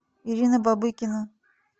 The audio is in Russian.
ирина бобыкина